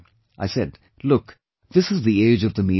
I said, "Look, this is the age of the media